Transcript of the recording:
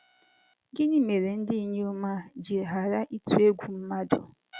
Gịnị mere ndị inyom a ji ghara ịtụ egwu mmadụ?